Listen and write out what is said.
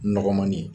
Nɔgɔmani ye